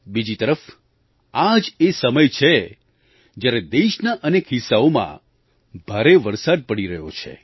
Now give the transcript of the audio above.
બીજી તરફ આ જ એ સમય છે જ્યારે દેશના અનેક હિસ્સાઓમાં ભારે વરસાદ પડી રહ્યો છે